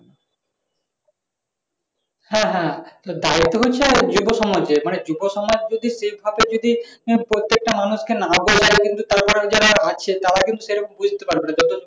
হ্যাঁ হ্যাঁ দায়িত্ব হচ্ছে যুব সমাজের যুবসমাজের যদি সেভাবে যদি পরতেকটা মানুষ কে না বললে কিন্তু তারা যারা রয়েছে তারা কিন্তু সেরকম বুঝতে পারবে না।